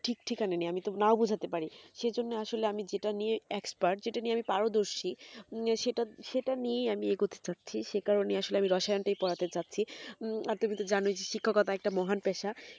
ঠিক ঠেকেনা নেই আমি তো নাও বুঝতে পারি সে জন্য আসলে আমি যেটা নিয়ে expert যেটা নিয়ে আমি পারদর্শী সেটা নিয়ে আমি এগোতে যাচ্ছি সে কারণে আসলে আমি রসায়ন তা পড়াতে যাচ্ছি আর তুমি তো জানোই শিক্ষতা একটা মহান পেশা